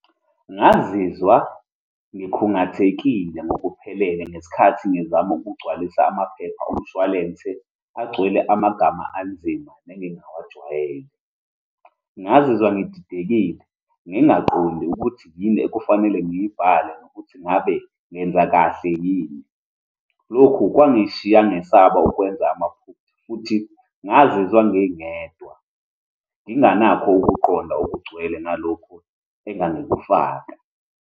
Ngazizwa ngikhungathekile ngokuphelele ngesikhathi ngizama ukugcwalisa amaphepha omshwalense agcwele amagama anzima nengingawajwayele. Ngazizwa ngididekile, ngingaqondi ukuthi yini ekufanele ngiyibale, nokuthi ngabe ngenza kahle yini. Lokhu kwangishiya ngesaba ukwenza amaphutha, futhi ngazizwa ngingedwa, nginganakho ukuqonda okugcwele ngalokhu engingakufaka.